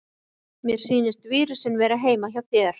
Mér sýnist vírusinn vera heima hjá þér.